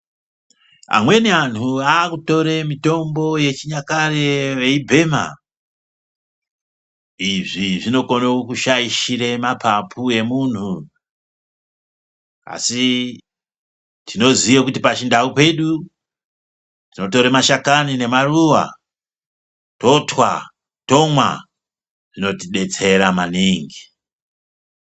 Amweni anthu akutore mitombo yechinyakare veibhema. Izvi zvinokone kushaishira mapapu emunthu asi tinoziye kuti pachindau pedu tinotore mashakani nemaruwa totwa, tomwa zvinotidetsera manimgi.